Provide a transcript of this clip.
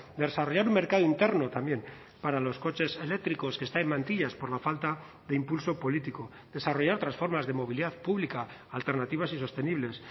desarrollar un mercado interno también para los coches eléctricos que está en mantillas por la falta de impulso político desarrollar otras formas de movilidad pública alternativas y sostenibles